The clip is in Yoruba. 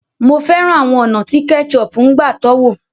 Mo fẹ́ràn àwọn ọ̀nà tí ketchup ń gbà tọ́wò.